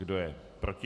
Kdo je proti?